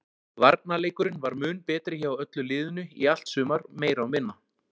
Varnarleikurinn var mun betri hjá öllu liðinu í allt sumar meira og minna.